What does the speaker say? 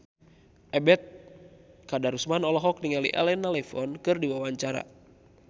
Ebet Kadarusman olohok ningali Elena Levon keur diwawancara